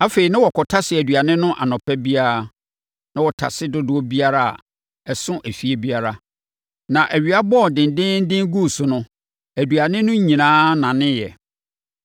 Afei, na wɔkɔtase aduane no anɔpa biara, na wɔtase dodoɔ biara a, ɛso efie biara. Na awia bɔɔ dendeenden guu so no, aduane no nyinaa naneeɛ.